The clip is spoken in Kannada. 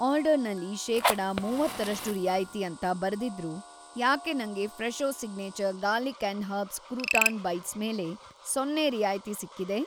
ಆರ್ಡರ್‌ನಲ್ಲಿ ಶೇಕಡ ಮೂವತ್ತರಷ್ಟು ರಿಯಾಯಿತಿ ಅಂತ ಬರೆದಿದ್ರೂ ಯಾಕೆ ನಂಗೆ Fresho signature garlic and herbs crouton bites ಮೇಲೆ ಸೊನ್ನೆ ರಿಯಾಯಿತಿ‌ ಸಿಕ್ಕಿದೆ?